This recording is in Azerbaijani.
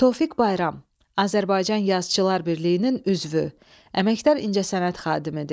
Tofiq Bayram Azərbaycan Yazıçılar Birliyinin üzvü, Əməkdar incəsənət xadimdir.